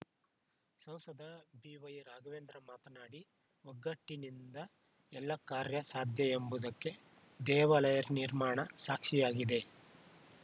ಸಂಸದ ಬಿವೈರಾಘವೇಂದ್ರ ಮಾತನಾಡಿ ಒಗ್ಗಟ್ಟಿನಿಂದ ಎಲ್ಲಾ ಕಾರ್ಯ ಸಾಧ್ಯ ಎಂಬುದಕ್ಕೆ ದೇವಾಲಯ ನಿರ್ಮಾಣ ಸಾಕ್ಷಿಯಾಗಿದೆ